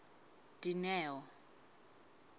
dineo